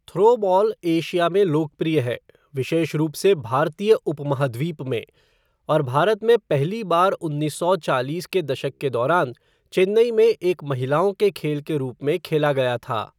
Throwball Asia में लोकप्रिय है, विशेष रूप से भारतीय उपमहाद्वीप में, और भारत में पहली बार उन्नीस सौ चालीस के दशक के दौरान चेन्नई में एक महिलाओं के खेल के रूप में खेला गया था।